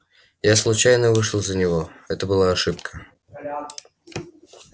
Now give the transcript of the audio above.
я случайно вышла за него это была ошибка